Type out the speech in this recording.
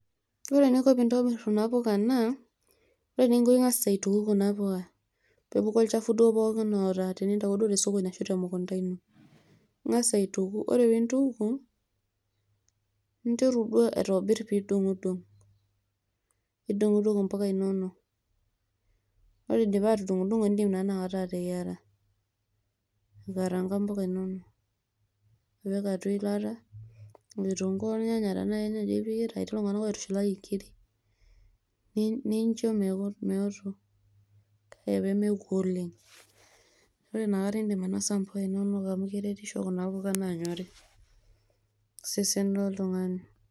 Ore eninko pintobir kuna puka naa, ore ninko ing'asa aituku kuna puka. Pepuku olchafu duo pookin oata tenintauo duo tosokoni ashu temukunta ino. Ing'asa aituku, ore pintuku, ninteru duo aitobir pe idung'dung'. Nidung'dung' impuka inonok. Ore idipa atudung'o, idim naa inakata ateyiara. Aikaraanga mpuka inonok. Nipik atua eilata, nipik kitunkuu ornyanya tenaa kernyanya ipikita, etii iltung'anak oitushulaki nkiri, nincho meoto. Kake peoku oleng'. Ore inakata idim ainosa mpuka inonok amu keretisho kuna puka nanyori tosesen loltung'ani.